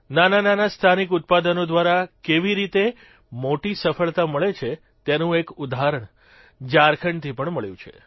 નાનાનાના સ્થાનિક ઉત્પાદનો દ્વારા કેવી રીતે મોટી સફળતા મળે છે તેનું એક ઉદાહરણ ઝારખંડથી પણ મળ્યું છે